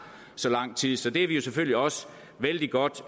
så lang tid så det er vi selvfølgelig også vældig godt